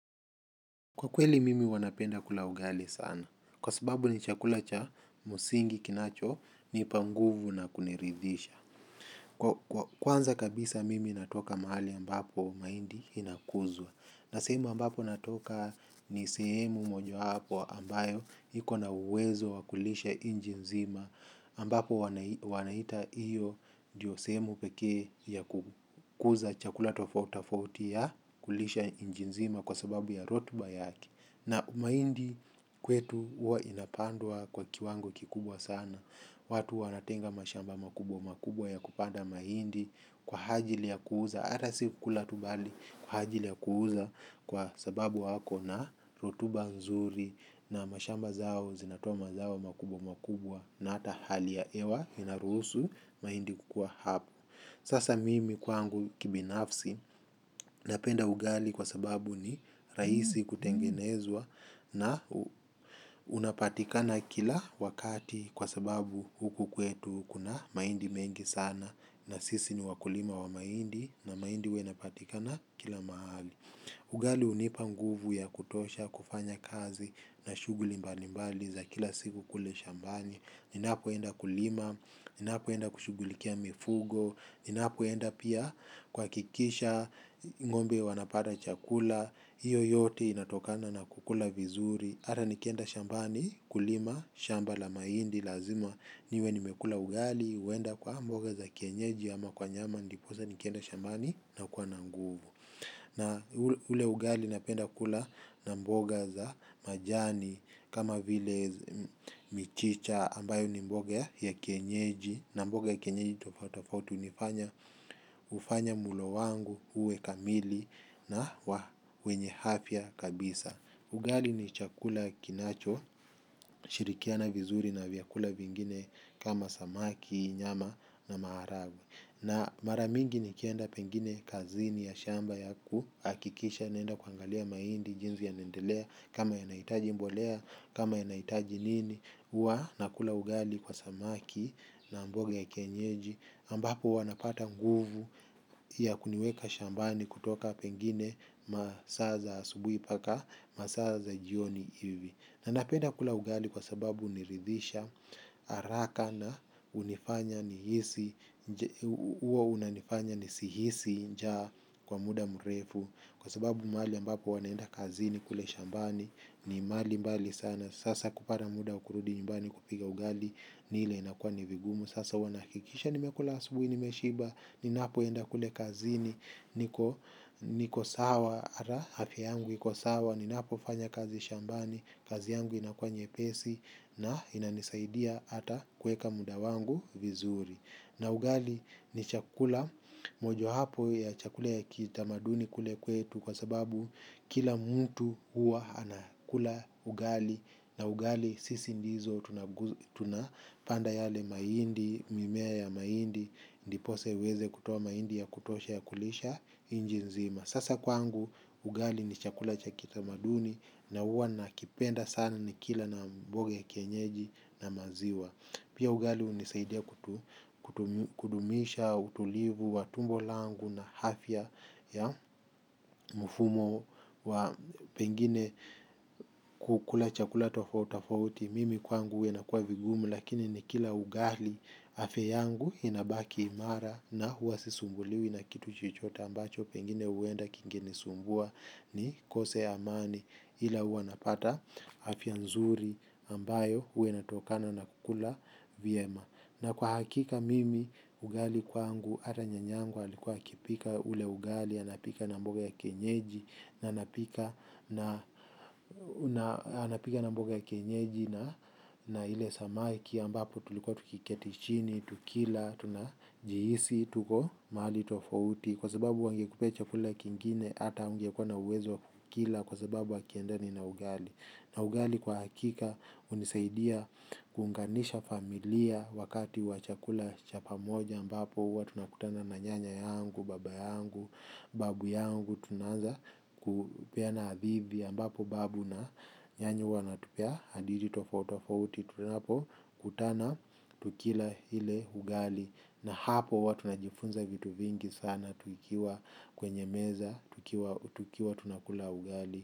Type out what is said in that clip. Kwa kweli mimi huwa napenda kula ugali sana, kwa sababu ni chakula cha msingi kinachonipa nguvu na kuniridhisha. Kwanza kabisa mimi natoka mahali ambapo mahindi inakuzwa. Na sehemu ambapo natoka ni sehemu mojawapo ambayo iko na uwezo wa kulisha nchi nzima. Ambapo wanaita hiyo ndiyo sehemu pekee ya kukuza chakula tofautitofauti ya kulisha nchi nzima kwa sababu ya rotuba yake. Na mahindi kwetu huwa inapandwa kwa kiwango kikubwa sana, watu wanatenga mashamba makubwa makubwa ya kupanda mahindi kwa ajili ya kuuza, hata si kukula tu bali kwa ajili ya kuuza kwa sababu wako na rotuba nzuri na mashamba zao zinatoa mazao makubwa makubwa na hata hali ya hewa inaruhusu mahindi kukua hapa. Sasa mimi kwangu kibinafsi napenda ugali kwa sababu ni rahisi kutengenezwa na unapatikana kila wakati kwa sababu huku kwetu kuna mahindi mengi sana na sisi ni wakulima wa mahindi na mahindi huwa unapatikana kila mahali. Ugali hunipa nguvu ya kutosha, kufanya kazi na shughuli mbalimbali za kila siku kule shambani. Ninapoenda kulima, ninapoenda kushughulikia mifugo, ninapoenda pia kuhakikisha, ng'ombe wanapata chakula, hiyo yote inatokana na kukula vizuri. Hata nikienda shambani kulima, shamba la mahindi lazima niwe nimekula ugali, huenda kwa mboga za kienyeji ama kwa nyama ndiposa nikienda shambani nakuwa na nguvu. Na ule ugali napenda kula na mboga za majani kama vile michicha ambayo ni mboga ya kienyeji na mboga ya kienyeji tofautitofauti hufanya mlo wangu uwe kamili na wenye afya kabisa. Ugali ni chakula kinachoshirikiana vizuri na vyakula vingine kama samaki, nyama na maharagwe. Na mara mingi nikienda pengine kazini ya shamba ya kuhakikisha naenda kuangalia mahindi jinsi yanaendelea kama yanahitaji mbolea kama yanahitaji nini huwa nakula ugali kwa samaki na mboga ya kienyeji ambapo huwa napata nguvu ya kuniweka shambani kutoka pengine masaa za asubuhi mpaka masaa za jioni hivi. Na napenda kula ugali kwa sababu huniridhisha, haraka na hunifanya nihisi, huwa unanifanya nisihisi njaa kwa muda mrefu. Kwa sababu mahali ambapo huwa naenda kazini kule shambani, ni mahali mbali sana. Sasa kupata muda wa kurudi nyumbani kupika ugali, ni ile inakuwa ni vigumu. Sasa huwa nahakikisha nimekula asubuhi, nimeshiba, ninapoenda kule kazini, niko sawa, hata afya yangu, iko sawa. Ninapofanya kazi shambani, kazi yangu inakuwa nyepesi na inanisaidia hata kuweka muda wangu vizuri. Na ugali ni chakula, mojawapo ya chakula ya kitamaduni kule kwetu kwa sababu kila mtu huwa anakula ugali. Na ugali sisi ndizo tunapanda yale mahindi, mimea ya mahindi, ndiposa iweze kutoa mahindi ya kutosha ya kulisha nchi nzima. Sasa kwangu ugali ni chakula cha kitamaduni na huwa nakipenda sana nikila na mboga ya kienyeji na maziwa. Pia ugali hunisaidia kudumisha, utulivu, wa tumbo langu na afya ya mfumo wa pengine kukula chakula tofautitofauti. Mimi kwangu huwa inakuwa vigumu lakini nikila ugali afya yangu inabaki imara na huwa sisumbuliwi na kitu chochote ambacho pengine huenda kingenisumbua nikose amani ila huwa napata afya nzuri ambayo huwa inatokana na kula vyema. Na kwa hakika mimi ugali kwangu hata nyanya yangu alikuwa akipika ule ugali, anapika na mboga ya kienyeji na na ile samaki ambapo tulikuwa tukiketi chini, tukila, tunajihisi, tuko mahali tofauti. Kwa sababu wangekupea chakula kingine hata haungekuwa na uwezo wa kukila. Kwa sababu hakiendani na ugali. Na ugali kwa hakika hunisaidia kuunganisha familia wakati wa chakula cha pamoja ambapo huwa tunakutana na nyanya yangu, baba yangu, babu yangu tunaanza kupeana hadithi, ambapo babu na nyanya huwa wanatupea hadithi tofautitofauti tunapokutana, tukila ile ugali na hapo huwa tunajifunza vitu vingi sana tukiwa kwenye meza, tukiwa tunakula ugali.